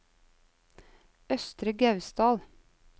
Østre Gausdal